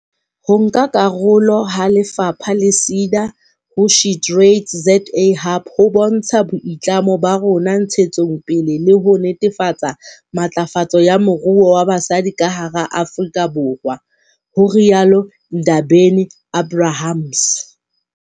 "Ho nka karolo ha lefapha le SEDA ho SheTradesZA Hub ho bontsha boitlamo ba rona ntshetsong pele le ho netefatsa matlafatso ya moruo wa basadi ka hara Afrika Borwa," ho rialo Ndabeni-Abrahams.